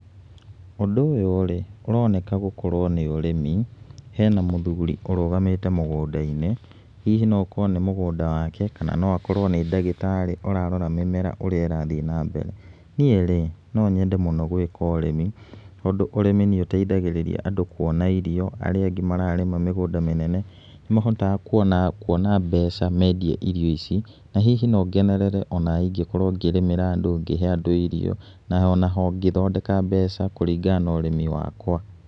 Ũndũ ũyũ rĩ, ũroneka gũkorwo nĩ ũrĩmi, hena mũthuri ũrũgamĩte mũgũnda-inĩ, hihi no gũkorwo nĩ mũgũnda wake kana no akorwo nĩ ndagĩtarĩ ũrarora mĩmera ũrĩa ĩrathiĩ na mbere. Niĩ no nyende mũno gwĩka ũrĩmi tondũ ũrĩmi nĩ ũteithagĩrĩria andũ kuona irio, arĩa angĩ mararĩma mĩgũnda mĩnene nĩ mahotaaga kuona mbeca mendia irio ici, na hihi no ngenerere ona ingĩkorwo ngĩrĩmĩra andũ, ngĩhe andũ irio , naho ngĩthondeka mbeca kũringana na ũrĩmi wakwa.